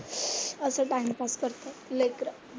असं time pass करतात लेकरं.